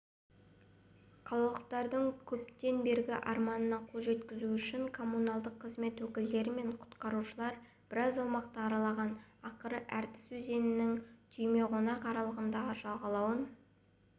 қалалықтардың көптен бергі арманына қол жеткізу үшін коммуналдық қызмет өкілдері мен құтқарушылар біраз аумақты аралаған ақыры ертіс өзенінің түйемойнақ аралындағы жағалауын